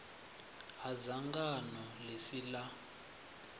ha dzangano ḽi si ḽa